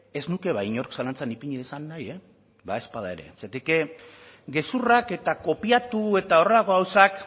ez nuke inork zalantzan ipini dezan nahi badaezpada ere zergatik gezurrak eta kopiatu eta horrelako gauzak